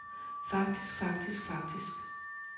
faktisk faktisk faktisk